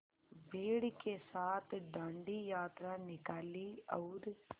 भीड़ के साथ डांडी यात्रा निकाली और